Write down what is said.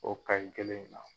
O KAYI kelen in na.